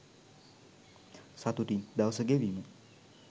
සතුටින් දවස ගෙවීම